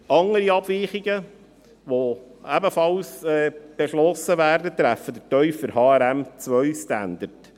Andere Abweichungen, die ebenfalls beschlossen werden, betreffen den tieferen HRM2Standard.